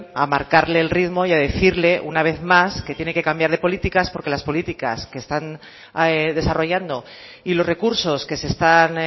a marcarle el ritmo y a decirle una vez más que tiene que cambiar de políticas porque las políticas que están desarrollando y los recursos que se están